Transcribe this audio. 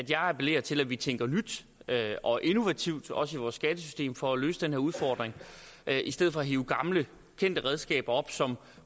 jeg appellerer til at vi tænker nyt og innovativt også i vores skattesystem for at løse den her udfordring i stedet for at hive gamle kendte redskaber som